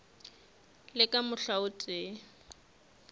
le ka mohla o tee